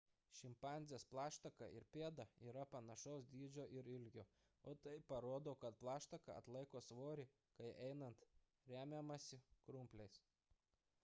šimpanzės plaštaka ir pėda yra panašaus dydžio ir ilgio o tai parodo kad plaštaka atlaiko svorį kai einant remiamasi krumpliais